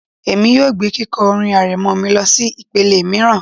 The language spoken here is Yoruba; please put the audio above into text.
Èmi yóò gbé kíkọ orin arẹmọ mi lọsí ìpele mìíràn